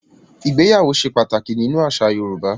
ìgbéyàwó se pataki nínú àṣà Yorùbá.